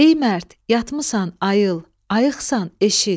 Ey mərd, yatmısan, ayıl, ayıqsansa, eşit.